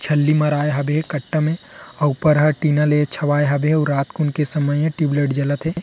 छल्ली मराए हवे कट्टा में अउ ऊपर ह टीना ले छावाए हवे अउ रात कुन के समय ए टुब लाइट जलत हे।